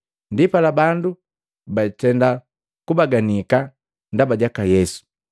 Ndipala bandu batenda kubaganika ndaba jaka Yesu.